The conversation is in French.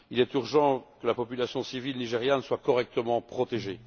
Il est urgent que la population civile nigériane soit correctement protégée.